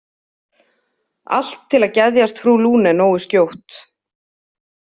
Allt til að geðjast frú Lune nógu skjótt.